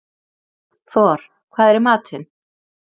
Thor, hvað er í matinn?